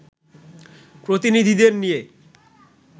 প্রতিনিধিদের নিয়ে